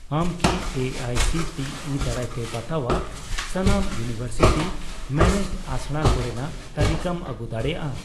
ᱟᱢ ᱠᱤ ᱮ ᱟᱭ ᱥᱤ ᱴᱤ ᱤ ᱫᱟᱨᱟᱭᱛᱮ ᱵᱟᱛᱟᱣᱟᱜ ᱥᱟᱱᱟᱢ ᱤᱭᱩᱱᱤᱣᱮᱨᱥᱤᱴᱤ ᱢᱮᱱᱮᱡᱰ ᱟᱥᱲᱟ ᱠᱚᱨᱮᱱᱟᱜ ᱛᱟᱞᱤᱠᱟᱢ ᱟᱹᱜᱩ ᱫᱟᱲᱮᱭᱟᱜᱼᱟ ?